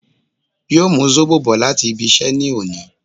Yóò mú Zóbò bò láti ibí iṣẹ́ ní òní